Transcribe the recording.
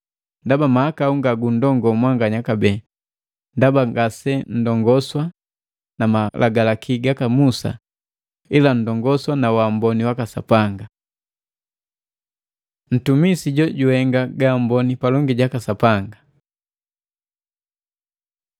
Ndaba mahakau ngagundongoo mwanganya kabee, ndaba ngase nndongoswa na Malagalaki gaka Musa ila nndongoswa na waamboni waka Sapanga. Ntumisi jojuhenga gaamboni palongi jaka Sapanga